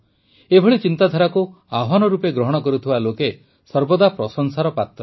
ଏଭଳି ଚିନ୍ତାଧାରାକୁ ଆହ୍ୱାନ ରୂପେ ଗ୍ରହଣ କରୁଥିବା ଲୋକେ ସର୍ବଦା ପ୍ରଶଂସାର ପାତ୍ର